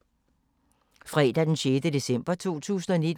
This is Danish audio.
Fredag d. 6. december 2019